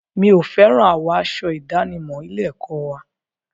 Mi ò fẹ́ràn àwọ̀ aṣọ ìdánimọ̀ ilé-ẹ̀kọ́ wa.